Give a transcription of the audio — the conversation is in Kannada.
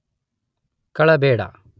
ಕಳಬೇಡ